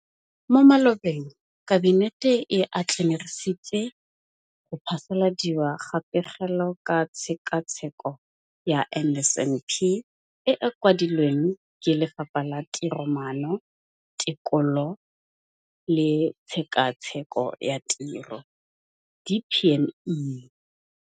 Mo malobeng Kabinete e atlenegisitse go phasaladiwa ga Pegelo ka Tshekatsheko ya NSNP e e kwadilweng ke Lefapha la Tiromaano, Tekolo le Tshekatsheko ya Tiro DPME.